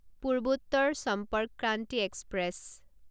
Purvottar Sampark Kranti express